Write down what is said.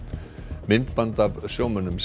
myndband af sjómönnum sem